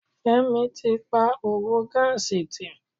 Fẹ́mi tí pa òwò gáàsì tì.